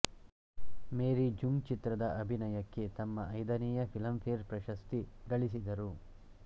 ಮೇರಿ ಜುಂಗ್ ಚಿತ್ರದ ಅಭಿನಯಕ್ಕೆ ತಮ್ಮ ಐದನೆಯ ಫಿಲಂ ಫೇರ್ ಪ್ರಶಸ್ತಿ ಗಳಿಸಿದರು